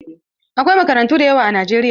Akwai makarantu da yawa a Najeriya.